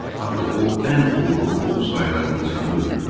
Axı o ən uğurlu ov sayılan insanı öldürmüşdü.